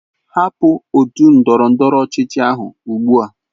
Hapụ otu ndọrọ ndọrọ ọchịchị ahu ugbu a!